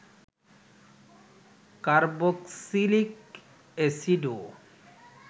carboxylic অ্যাসিডও